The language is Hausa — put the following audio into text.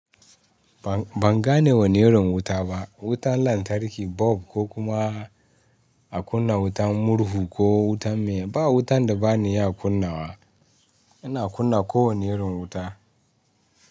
Ban, ban gane wane irin wuta ba. Wutan lantarki, bulb ko kuma a kunna wutan murhu ko wutan miye. Ba wutan da bani iya kunnawa, ina kunna kowane irin wuta.